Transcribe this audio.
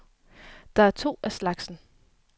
Der er to af slagsen.